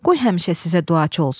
Qoy həmişə sizə duacı olsun.